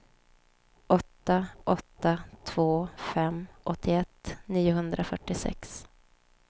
åtta åtta två fem åttioett niohundrafyrtiosex